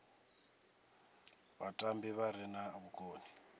vhatambi vha re na vhukoni